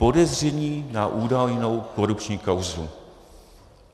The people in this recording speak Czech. Podezření na údajnou korupční kauzu.